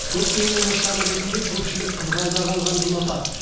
көктемнің нышаны ретінде көпшілік қызғалдақ алғанды ұнатады